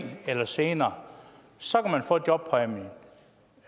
eller senere så